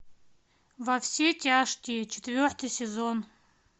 во все тяжкие четвертый сезон